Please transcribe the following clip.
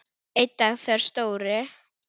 Einn dag þegar Stóri